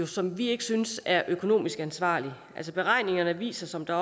som vi ikke synes er økonomisk ansvarligt altså beregningerne viser som der